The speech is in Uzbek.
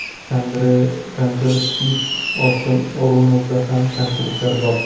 Andrey Kanchelskis: Oston O‘runovda ham kamchiliklar bor.